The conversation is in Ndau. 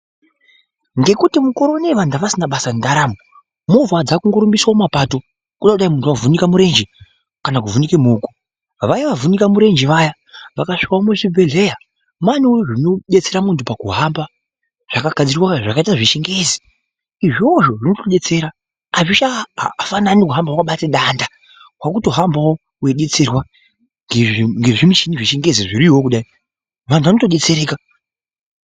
Ngekuti mukore ineyi vantu avasisina basa nendaramo movha dzakungorumbiswa mumapato , kude kudai muntu wavhunike murenje kana kuvhunike muoko , vaya vavhunike murenje vaya vakasvikewo muzvibhodhlera manewo zvinodetsera munhu pakuhamba zvakaita zvechingezi , izvozvo zvinotodetsera azvichafanani kuhamba wakabate danda , wakutohanbawo wedetserwa ngezvi...ngezvimuchini zvechingezi zviriyoo kudai vantu vanotodetsereka .